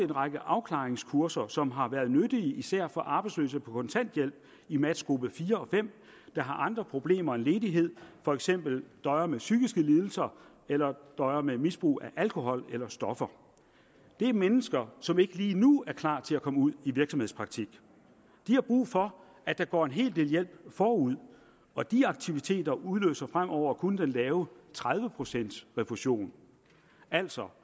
række afklaringskurser som har været nyttige især for arbejdsløse på kontanthjælp i matchgruppe fire og fem der har andre problemer end ledighed for eksempel døjer med psykiske lidelser eller døjer med misbrug af alkohol eller stoffer det er mennesker som ikke lige nu er klar til at komme ud i virksomhedspraktik de har brug for at der går en hel del hjælp forud og de aktiviteter udløser fremover kun den lave tredive procents refusion altså